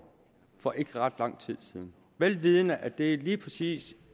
for ikke ret lang tid siden vel vidende at det lige præcis